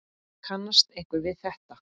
Kannast einhver við þetta?